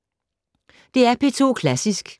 DR P2 Klassisk